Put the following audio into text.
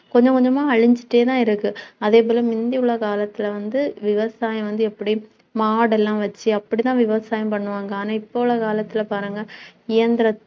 கொஞ்சம் கொஞ்சமா அழிஞ்சுட்டேதான் இருக்கு அதுபோல முந்தி உலக காலத்தில வந்து, விவசாயம் வந்து, எப்படி மாடு எல்லாம் வச்சு அப்படிதான் விவசாயம் பண்ணுவாங்க, ஆனா இப்போ உள்ள காலத்தில பாருங்க இயந்திர~